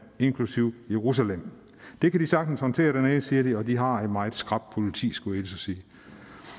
inklusive jerusalem det kan de sagtens håndtere dernede siger de og de har et meget skrapt politi skulle at sige